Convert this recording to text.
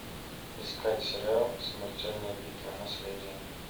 искать сериал смертельная битва наследие